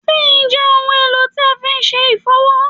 Zinc je ohun èlò tí a fi se ifowo